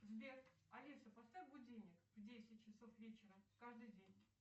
сбер алиса поставь будильник в десять часов вечера каждый день